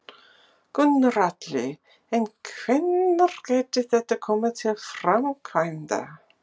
Gunnar Atli: En hvenær gæti þetta komið til framkvæmda?